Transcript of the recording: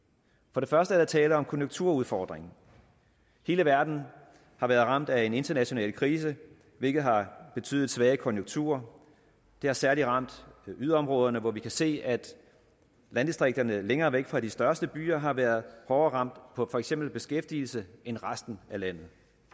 for det første er der tale om konjunkturudfordringen hele verden har været ramt af en international krise hvilket har betydet svage konjunkturer det har særlig ramt yderområderne hvor vi kan se at landdistrikterne længere væk fra de største byer har været hårdere ramt på for eksempel beskæftigelse end resten af landet